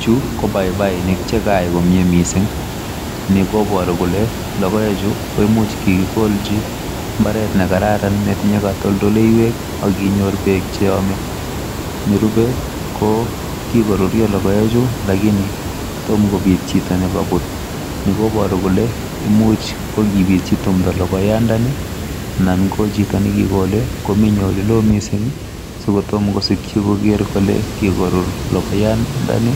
Chuu, ko paipainik che kaek komie mising. Ni koporu kole, logoechu koimuch kigikolchi mbaret nekararan netinye kotoldoleiwek, ak konyor peek cheome. Nerupe ko kikorutyo logoechu lakini tom kopiit chito ne koput. Ni koboru kole, imuch ko kiichi timdo logoyandani anan ko chito nekikole komenye olelo mising, si kotom kosikyi koger kole, kokorur logoyandani